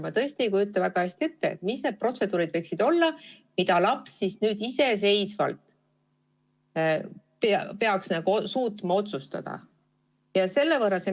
Ma tõesti ei kujuta väga hästi ette, millised need protseduurid võiksid olla, mille üle laps peaks iseseisvalt suutma otsustada.